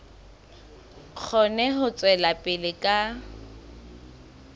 kgone ho tswela pele ka